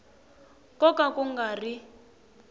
ko ka ku nga ri